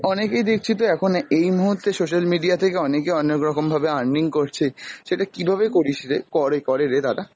অনেকেই দেখছি তো এখন এই মুহূর্তে social media থেকে অনেকে অনেক রকম ভাবে earning করছে, সেটা কিভাবে কিরিস রে, করে করে রে তারা?